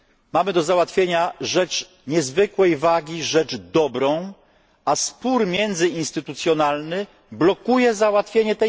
Mamy do załatwienia rzecz niezwykłej wagi, rzecz dobrą, a spór międzyinstytucjonalny blokuje jej załatwienie.